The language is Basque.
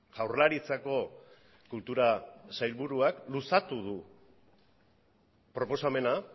jaurlaritzako kultura sailburuak luzatu du proposamena